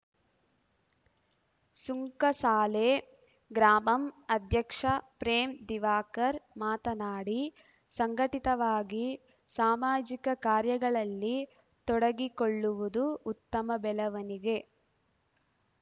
ಸುಂಕಸಾಲೆ ಗ್ರಾ ಮಂ ಧ್ಯಕ್ಷ ಪ್ರೇಮ್‌ ದಿವಾಕರ್‌ ಮಾತನಾಡಿ ಸಂಘಟಿತವಾಗಿ ಸಾಮಾಜಿಕ ಕಾರ್ಯಗಳಲ್ಲಿ ತೊಡಗಿಕೊಳ್ಳುವುದು ಉತ್ತಮ ಬೆಳವಣಿಗೆ